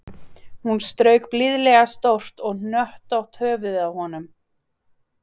Hún strauk blíðlega stórt og hnöttótt höfuðið á honum